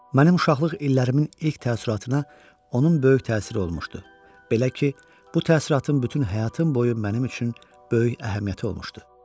Mənim uşaqlıq illərimin ilk təəssüratına onun böyük təsiri olmuşdu, belə ki, bu təəssüratın bütün həyatım boyu mənim üçün böyük əhəmiyyəti olmuşdu.